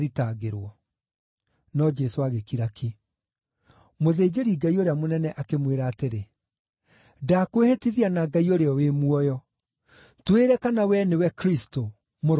No Jesũ agĩkira ki. Mũthĩnjĩri-Ngai ũrĩa mũnene akĩmwĩra atĩrĩ, “Ndakwĩhĩtithia na Ngai ũrĩa wĩ muoyo: Twĩre kana wee nĩwe Kristũ, Mũrũ wa Ngai.”